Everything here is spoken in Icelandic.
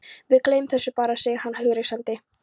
Við gleymum þessu bara, segir hann hughreystandi.